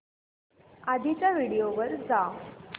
आधीच्या व्हिडिओ वर जा